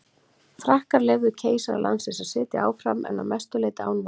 Frakkar leyfðu keisara landsins að sitja áfram en að mestu leyti án valda.